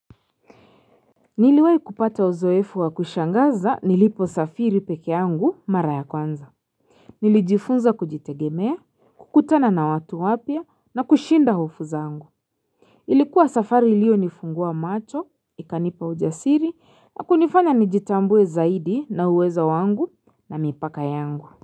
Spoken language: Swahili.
Niliweai kupata uzoefu wa kushangaza nilipo safiri peke yangu mara ya kwanza. Nilijifunza kujitegemea, kukutana na watu wapia na kushinda hufo zangu. Ilikuwa safari iliyo nifungua macho, ikanipa ujasiri na kunifanya nijitambue zaidi na uwezo wangu na mipaka yangu.